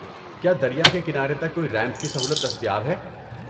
کیا دریا کے کنارے تک کوئی ریمپ کی سہولت دستیاب ہے؟